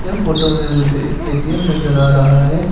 यह फोटो में मुझे एक ए_टी_एम नजर आ रहा है।